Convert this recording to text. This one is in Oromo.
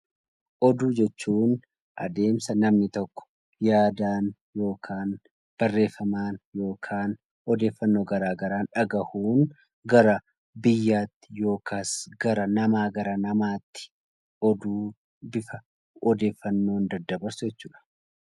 Oduu jechuun adeemsa namni tokko yaadaan yookaan barreeffamaan yookaan odeeffannoo gara garaan dhagahuun gara biyyaatti yookaas gara namaa namatti oduu bifa odeeffannoon daddabarsu jechuudha.